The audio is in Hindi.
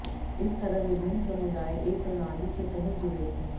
इस तरह विभिन्न समुदाय एक प्रणाली के तहत जुड़े थे